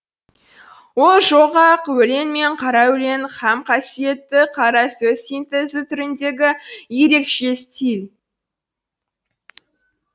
ол жол ақ өлең мен қара өлең һәм қасиетті қара сөз синтезі түріндегі ерекше стиль